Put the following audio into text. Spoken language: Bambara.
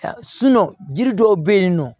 jiri dɔw be yen nɔ